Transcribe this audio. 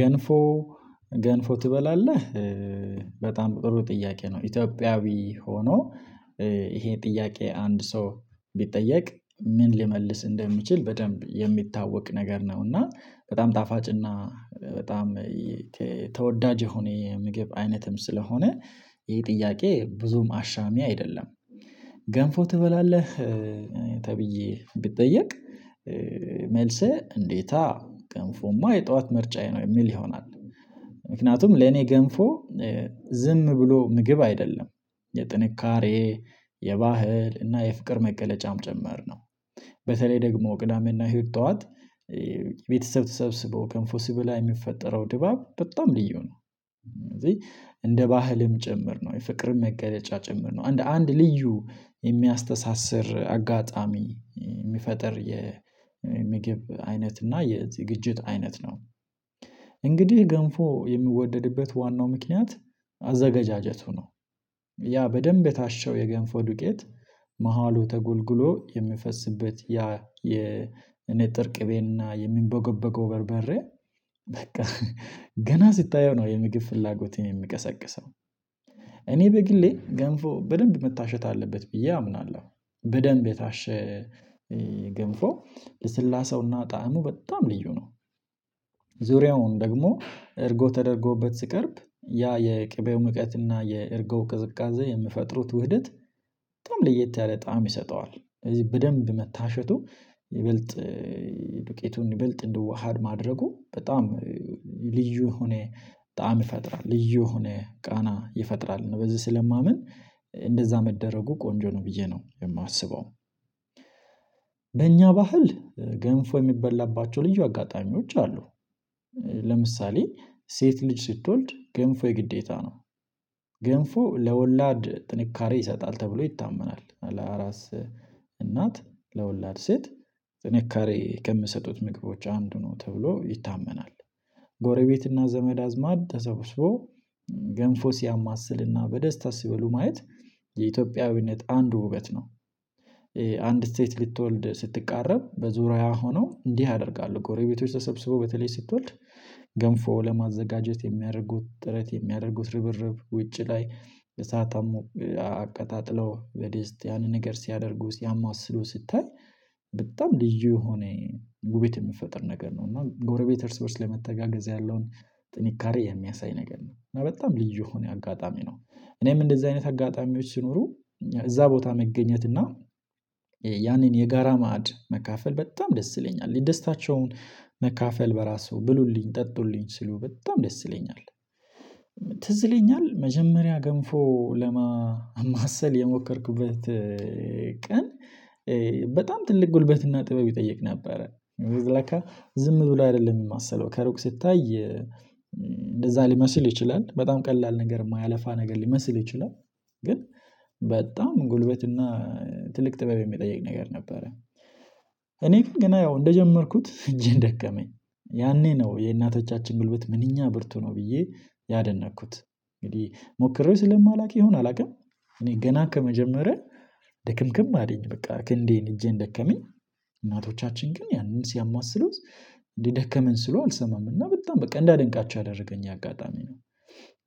ገንፎ ገንፎ ትበላለህ? በጣም ጥሩ ጥያቄ ነው ኢትዮጵያዊ ሆኖ ይሄ ጥያቄ አንድ ሰው ቢጠየቅ ምን ሊመልስ እንደሚችል በደንብ የሚታወቅ ነገር ነው እና በጣም ጣፋጭና በጣም ተወዳጅ የሆነ የምግብ አይነትም ስለሆነ ይሄ ጥያቄ ብዙም አሻሚ አይደለም። ገንፎ ትበላለህ ተብዬ ብጠየቅ መልስህ እንዴታ ገንፎማ የጠዋት ምርጫዬ ነው የሚል ይሆናል። ምክንያቱም ለኔ ገንፎ ዝም ብሎ ምግብ አይደለም የጥንካሬ የባህል እና የፍቅር መገለጫም ጭምር ነው። በተለይ ደግሞ ቅዳሜና እሁድ ጠዋት ቤተሰብ ተሰብስቦ ገንፎ ሲበላ የሚፈጠረው ድባብ በጣም ልዩ ነው። እንደ ባህልም ጭምር ነው የፍቅርም መገለጫ ጭምር ነው እንደ አንድ ልዩ የሚያስተሳስር አጋጣሚ የሚፈጥር የምግብ አይነት እና የዝግጅት አይነት ነው። እንግዲህ ገንፎ የሚወደድበት ዋናው ምክንያት አዘገጃጀቱ ነው። ያ በደንብ የታሸው የገንፎ ዱቄት መሃሉ ተጎልግሎ የሚፈስበት ያ የ ንጥር ቅቤና የሚንቦገበገው በርበሬ በቃ ገና ስታየው ነው የምግብ ፍላጎትህን የሚቀሰቅሰው። እኔ በግሌ ገንፎ በደንብ መታሸት አለበት ብዬ አምናለሁ። በደንብ የታሸ ገንፎ ልስላሴውና ጣዕሙ በጣም ልዩ ነው። ዙሪያውን ደግሞ እርጎ ተደርጎበት ሲቀርብ ያ የቅቤው ምቀት እና የእርጎ ቅዝቃዜ የሚፈጥሩት ውህደት በጣም ለየት ያለ ጣዕም ይሰጠዋል። ስለዚህ በደንብ መታሸቱ ይበልጥ ዱቄቱን ይበልጥ እንዲዋሀድ ማድረጉ በጣም ልዩ የሆነ ጣዕም ይፈጥራል። ልዩ የሆነ ቃና ይፈጥራል ነው በዚህ ስለማምን እንደዛ መደረጉ ቆንጆ ነው ብዬ ነው የማስበው። በእኛ ባህል ገንፎ የሚበላባቸው ልዩ አጋጣሚዎች አሉ። ለምሳሌ ሴት ልጅ ስትወልድ ገንፎ የግዴታ ነው። ገንፎ ለወላድ ጥንካሬ ይሰጣል ተብሎ ይታመናል ለአራስ እናት ለወላድ ሴት ጥንካሬ ከሚሰጡት ምግቦች አንዱ ነው ተብሎ ይታመናል። ጎረቤትና ዘመድ አዝማድ ተሰብስቦ ገንፎ ሲያማስልና በደስታ ሲበሉ ማየት የኢትዮጵያዊነት አንዱ ውበት ነው። አንድ ሴት ልትወልድ ስትቃረብ በዙሪያው ሆነው እንዲህ ያደርጋሉ ጎረቤቶች ተሰብስቦ በተለይ ስትወልድ ገንፎ ለማዘጋጀት የሚያደርጉት ጥረት የሚያደርጉት ርብርብ ውጪ ላይ እሳት አቀጣጥለው በድስት ያንን ነገር ሲያደርጉ ሲያማስሉ ስታይ በጣም ልዩ የሆነ ውብት የሚፈጥር ነገር ነው። እና ጎረቤት እርስ በእርስ ለመተጋገዝ ያለውን ጥንካሬ የሚያሳይ ነገር ነው። በጣም ልዩ የሆነ አጋጣሚ ነው። እኔም እንደዚህ አይነት አጋጣሚዎች ሲኖሩ እዛ ቦታ መገኘት እና ያንን የጋራ ማዕድ መካፈል በጣም ደስ ይለኛል ደስታቸውን መካፈል በራሱ ብሉልኝ ጠጡልኝ ሲሉ በጣም ደስ ይለኛል። ትዝ ይለኛል መጀመሪያ ገንፎ ለማማሰል የሞከርኩበት ቀን በጣም ትልቅ ጉልበትና ጥበብ ይጠይቅ ነበረ። ለካ ዝም ብሎ አይደለም የሚማሰለው ከሩቅ ሲታይ እንደዛ ሊመስል ይችላል በጣም ቀላል ነገር የማያለፋ ነገር ሊመስል ይችላል። ግን በጣም ጉልበት እና ትልቅ ጥበብ የሚጠይቅ ነገር ነበረ። እኔ ግን ገና ያው እንደጀመርኩት እጄን ደከመኝ ያኔ ነው የእናቶቻችን ጉልበት ምንኛ ብርቱ ነው ብዬ ያደነቅኩት። እንግዲህ ሞክሬው ስለማላውቅ ይሆን አላውቅም። እኔ ገና ከመጀመሪያ ደክምክም አለኝ በቃ ክንዴን እጄን ደከመኝ። እናቶቻችን ግን ያንን ሲያማስሉት ደከመን ሲሉ አልሰማም እና በጣም በቃ እንዳደንቃቸው ያደረገኝ አጋጣሚ ነው።